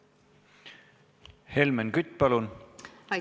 Helmen Kütt, palun!